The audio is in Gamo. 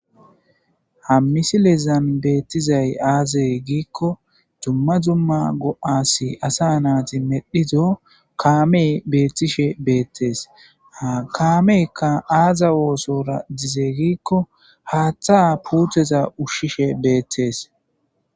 Ha misilezani betiddayi azze gikko duma duma assa kame betishe betesi. Ha kameyikka aza ossora dize giko haatha puteta ushishe betesi.